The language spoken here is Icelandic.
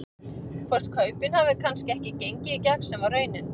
Hvort kaupin hafi kannski ekki gengið í gegn sem að var raunin?